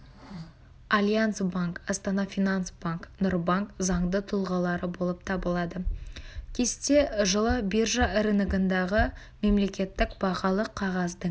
альянс банк астана-финанс банк нурбанк заңды тұлғалары болып табылады кесте жылы биржа рыногындағы мемлекеттік бағалы қағаздың